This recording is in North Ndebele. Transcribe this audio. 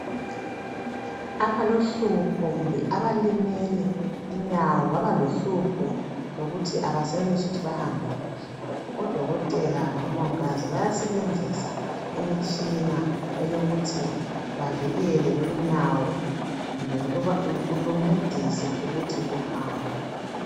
Abalohlupho kumbe abalimele inyawo baba lohlupho lokuthi abesenelisi ukuthi bahambe kuhle odokotela labomongikazi bayasebenzisa imitshina eyokuthi bavikele lolunyawo kumbe luba lu, luncedise ukuthi luhambe.